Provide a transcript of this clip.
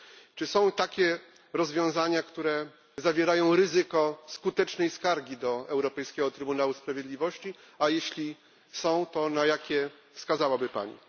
Czy są takie rozwiązania, które wiążą się z ryzykiem skutecznej skargi do Europejskiego Trybunału Sprawiedliwości, a jeśli są, to na jakie wskazałaby Pani?